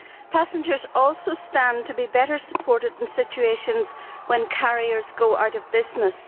Passengers also stand to be better supported in situations where carriers go out of business.